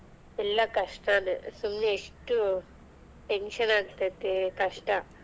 ಇಲ್ಲಾ ಕಷ್ಟಾನೆ ಸುಮ್ನೆ ಎಷ್ಟು tension ಆಗತೈತೆ ಕಷ್ಟಾ.